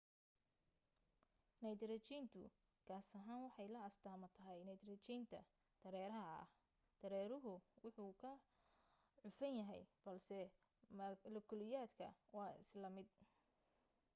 naytarjiintu gaas ahaan waxay la astaamo tahay naytarajiinta dareeraha ah dareeruhu wuu ka cufan yahay balse malakiyuulada waa isla mid